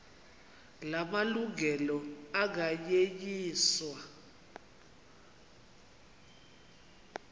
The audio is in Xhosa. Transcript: la malungelo anganyenyiswa